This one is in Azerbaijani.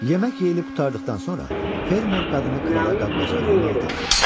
Yemək yeyilib qurtardıqdan sonra, fermer qadını krala qab-qacağı yumağı tapşırdı.